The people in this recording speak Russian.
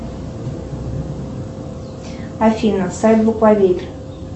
афина сайт буквоед